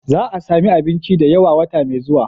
Za a sami abinci da yawa a wata mai zuwa.